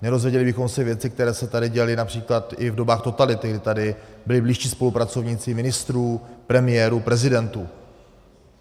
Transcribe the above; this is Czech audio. Nedozvěděli bychom se věci, které se tady děly například i v dobách totality, kdy tady byli blízcí spolupracovníci ministrů, premiérů, prezidentů.